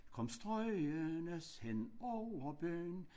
Kom strygende hen over byen